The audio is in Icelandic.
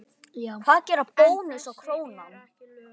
Hvað gera Bónus og Krónan?